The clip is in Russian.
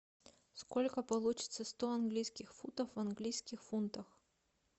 сколько получится сто английских фунтов в английских фунтах